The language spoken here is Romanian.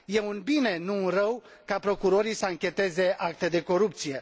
e un bine, nu un rău, ca procurorii să anchetez acte de corupție.